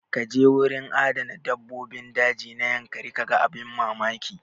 Kaje gurin adana dabbobin daji na yankari kaga abin mamaki.